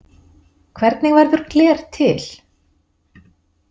Hvernig verður gler til?